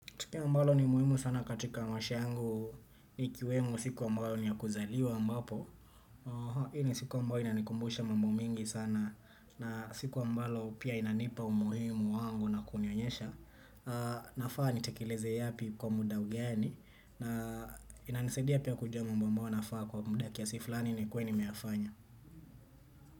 Tukio ambalo ni muhimu sana katika maisha yangu ni kiwemo siku ambayo niyakuzaliwa ambapo hii ni siku ambayo inanikumbusha mambo mingi sana na siku ambalo pia inanipa umuhimu wangu na kunionyesha. Nafaa nitekileze yapi kwa muda ugeni na inanisadia pia kujua mambo ambayo inafaa kwa muda kiasi fulani ni kuwe nimeyafanya.